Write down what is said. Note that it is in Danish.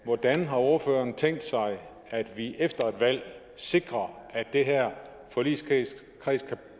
hvordan har ordføreren tænkt sig at vi efter et valg sikrer at den her forligskreds kan